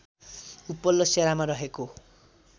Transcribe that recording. उपल्लो सेरामा रहेको